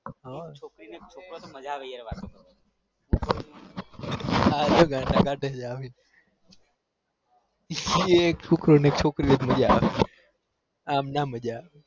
હા છોકરી ને છોકરો હોય તો મજા આવે વાત કરવાની અમ ના મજા ના અવ ર્ક છોકરી ચોકરો હોય તો મજા વે અમ મજા ના આવે